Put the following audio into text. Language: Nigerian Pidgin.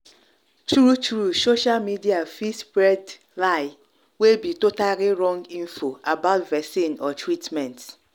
true true social media fit spread lieway be totally wrong info about about vaccine or treatment.